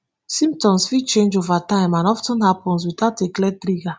symptoms fit change ova time and of ten happun witout a clear trigger.